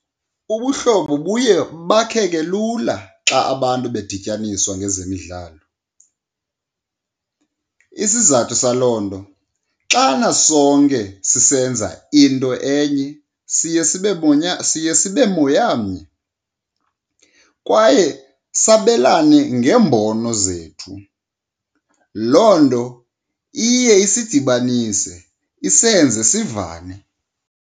Ubuhlobo buye bakheke lula xa abantu bedityaniswa ngezemidlalo. Isizathu saloo nto xana sonke sisenza into enye siye sibe , siye sibe moyamnye kwaye sabelane ngeembono zethu. Loo nto iye isidibanise isenze sivane.